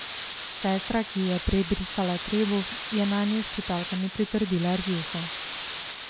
Sestra, ki ji je prej brisala trebuh, je nanju s ščipalkami pritrdila rjuho.